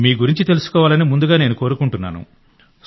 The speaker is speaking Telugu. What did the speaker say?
మీ గురించి తెలుసుకోవాలని ముందుగా నేను కోరుకుంటున్నాను